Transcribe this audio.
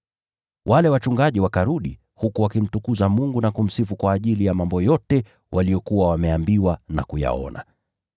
Wale wachungaji wakarudi, huku wakimtukuza Mungu na kumsifu kwa ajili ya mambo yote waliyokuwa wameambiwa na kuyaona.